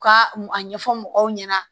U ka a ɲɛfɔ mɔgɔw ɲɛna